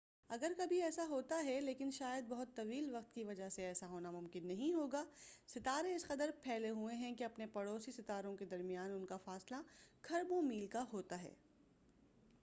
اگر کبھی ایسا ہوتا ہے لیکن شاید بہت طویل وقت کی وجہ سے ایسا ہونا ممکن نہیں ہوگا ستارے اس قدر پھیلے ہوئے ہیں کہ اپنے پڑوسی ستاروں کے درمیان انکا فاصلہ کھربوں میل کا ہوتا ہے